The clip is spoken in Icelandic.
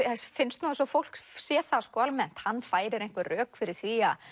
finnst eins og fólk sé það almennt hann færir einhver rök fyrir því að